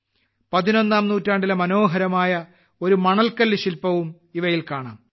പതിനൊന്നാം നൂറ്റാണ്ടിലെ മനോഹരമായ ഒരു മണൽക്കല്ല് ശില്പവും ഇവയിൽ കാണാം